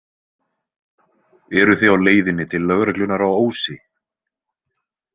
Eruð þið á leiðinni til lögreglunnar á Ósi?